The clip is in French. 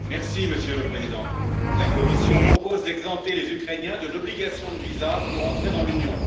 Monsieur le Président, la Commission propose d'exempter les Ukrainiens de l'obligation de visa pour entrer dans l'Union.